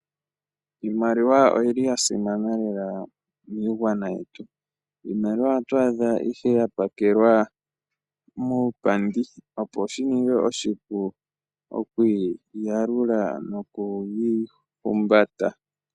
Iimaliwa oyi ya simana miigwana yetu. Iimaliwa oto adha ihe ya pakelwa opo shininge oshipu no kwaalula no ku humbata.